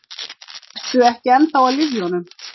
Ertu ekki ennþá á lyfjunum?